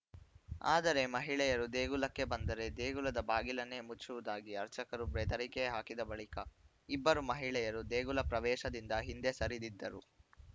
ಆದರೆ ಮಹಿಳೆಯರು ದೇಗುಲಕ್ಕೆ ಬಂದರೆ ದೇಗುಲದ ಬಾಗಿಲನ್ನೇ ಮುಚ್ಚುವುದಾಗಿ ಅರ್ಚಕರು ಬೆದರಿಕೆ ಹಾಕಿದ ಬಳಿಕ ಇಬ್ಬರೂ ಮಹಿಳೆಯರು ದೇಗುಲ ಪ್ರವೇಶದಿಂದ ಹಿಂದೆ ಸರಿದಿದ್ದರು